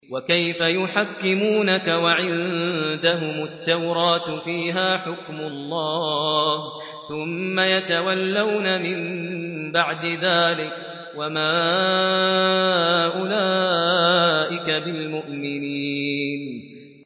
وَكَيْفَ يُحَكِّمُونَكَ وَعِندَهُمُ التَّوْرَاةُ فِيهَا حُكْمُ اللَّهِ ثُمَّ يَتَوَلَّوْنَ مِن بَعْدِ ذَٰلِكَ ۚ وَمَا أُولَٰئِكَ بِالْمُؤْمِنِينَ